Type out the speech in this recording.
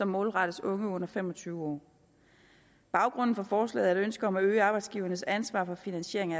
målrettet unge under fem og tyve år baggrunden for forslaget er et ønske om at øge arbejdsgivernes ansvar for finansiering